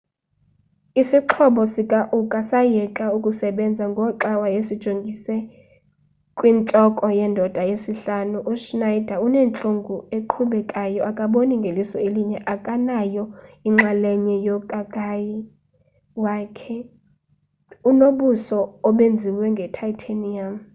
isixhobo sikauka sayeka ukusebenza ngoxa wayesijongise kwintloko yendoda yesihlanu uschneider unentlungu eqhubekayo akaboni ngeliso elinye akanayo inxalenye yokakayi kwaye unobuso obenziwe nge-titanium